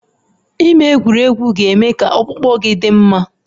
Ime egwuregwu ga-eme ka ọkpụkpụ gị dị mma